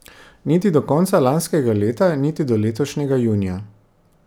Niti do konca lanskega leta niti do letošnjega junija.